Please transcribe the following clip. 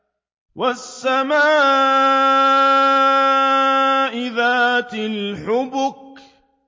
وَالسَّمَاءِ ذَاتِ الْحُبُكِ